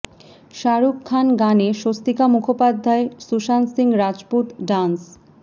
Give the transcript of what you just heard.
শাহরুখ খান গানে স্বস্তিকা মুখোপাধ্যায় সুশান্ত সিং রাজপুত ডান্স